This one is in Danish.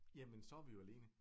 Jamen så er vi jo alene